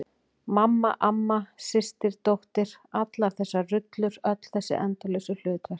Mamma, amma, systir dóttir- allar þessar rullur, öll þessi endalausu hlutverk.